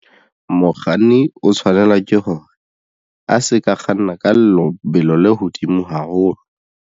Mokganni o tshwanela ke hore a se ka kganna ka lebelo le hodimo haholo.